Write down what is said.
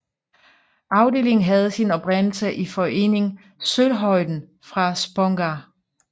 Afdelingen havde sin oprindelse i foreningen Solhöjden fra Spånga